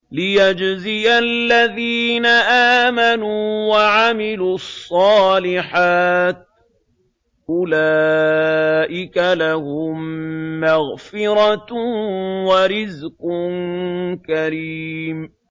لِّيَجْزِيَ الَّذِينَ آمَنُوا وَعَمِلُوا الصَّالِحَاتِ ۚ أُولَٰئِكَ لَهُم مَّغْفِرَةٌ وَرِزْقٌ كَرِيمٌ